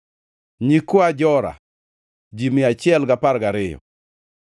nyikwa Jora, ji mia achiel gi apar gariyo (112),